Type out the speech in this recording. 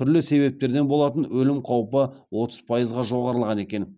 түрлі себептерден болатын өлім қаупі отыз пайызға жоғарылаған екен